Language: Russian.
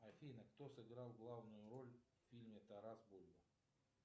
афина кто сыграл главную роль в фильме тарас бульба